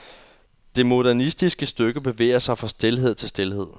Det modernistiske stykke bevæger sig fra stilhed til stilhed.